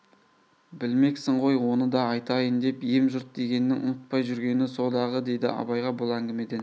білмексің ғой оны да айтайын деп ем жұрт дегеннің ұмытпай жүргені со-дағы деді абайға бұл әңгімеден